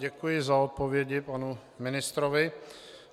Děkuji za odpovědi panu ministrovi.